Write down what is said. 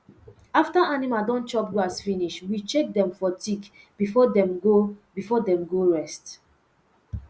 after animal don chop grass finish we check dem for tick before dem go before dem go rest